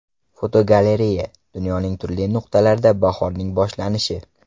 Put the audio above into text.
Fotogalereya: Dunyoning turli nuqtalarida bahorning boshlanishi.